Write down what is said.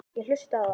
Ég hlustaði á þá.